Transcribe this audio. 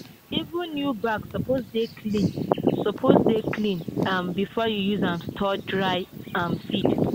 even new bag suppose dey cleaned suppose dey cleaned um before you use am store dry um seed.